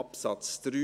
Absatz 3